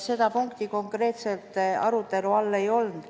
Seda punkti konkreetselt arutelu all ei olnud.